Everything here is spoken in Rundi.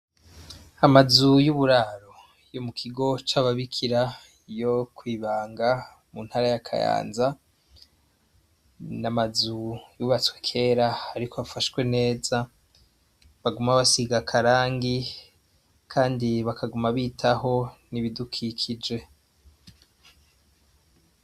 Amazu y'uburaro, yo mu kigo c'ababikira, yo kw'ibanga mu ntara ya Kayanza. Ni amazu yubatswe kera ariko afashwe neza, baguma basiga akarangi kandi bakaguma bitaho ibidukikije.